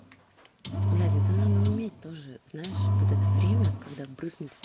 надя это надо уметь тоже знаешь вот это время когда брыснуть в